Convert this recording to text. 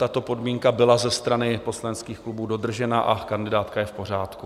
Tato podmínka byla ze strany poslaneckých klubů dodržena a kandidátka je v pořádku.